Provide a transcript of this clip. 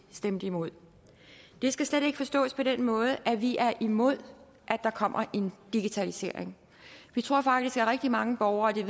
stemte imod det skal slet ikke forstås på den måde at vi er imod at der kommer en digitalisering vi tror faktisk ja rigtig mange borgere